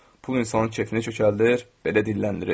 Pul insanın kefini kökəldir, belə dilləndirir.